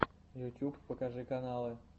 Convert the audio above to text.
ютьюб покажи каналы